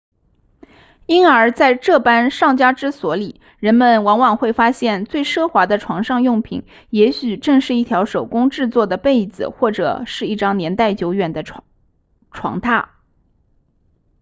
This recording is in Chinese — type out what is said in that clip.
因而在这般上佳之所里人们往往会发现最奢华的床上用品也许正是一条手工制作的被子或者是一张年代久远的床榻